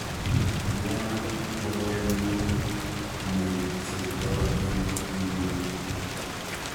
Miano chorwenyun ne cheptoo eng' inguni